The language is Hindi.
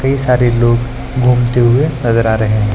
कई सारे लोग घूमते हुए नजर आ रहे है।